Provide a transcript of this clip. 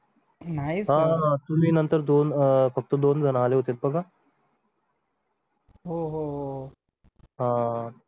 नाही sir तुम्ही नंतर दोन अं फक्त दोन जण आली होती बघा हो हो हा